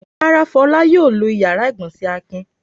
Rárá, Fọlá yóò lo ìyàrá-ìgbọ̀nsẹ̀ Akin.